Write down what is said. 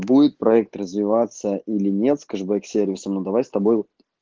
будет проект развиваться или нет с кэшбэк сервисом ну давай с тобой